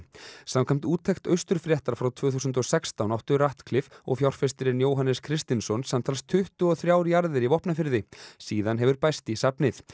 samkvæmt úttekt frá tvö þúsund og sextán áttu og fjárfestirinn Jóhannes Kristinsson samtals tuttugu og þrjár jarðir í Vopnafirði síðan hefur bæst í safnið